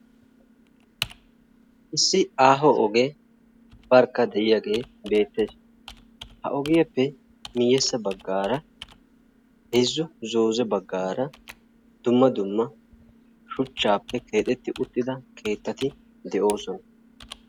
Issi aaho ogee barkka de"iyaage beettes. Ha ogiyappe miyyessa baggaara heezzu zooze baggaara dumma dumma shuchchaappe keexetti uttida keettati de"oosona.